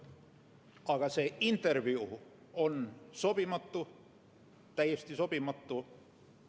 Aga see intervjuu oli sobimatu – täiesti sobimatu!